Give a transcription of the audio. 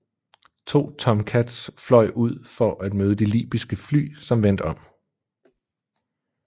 To Tomcats fløj ud for at møde de libyske fly som vendte om